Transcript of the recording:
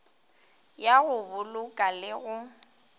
ya go boloka le go